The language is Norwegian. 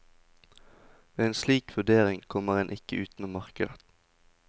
Ved en slik vurdering, kommer en ikke utenom markedet.